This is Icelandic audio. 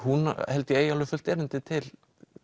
held ég eigi alveg fullt erindi til